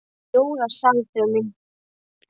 Jóra sá að þau mundu þurfa að bíða nokkra stund.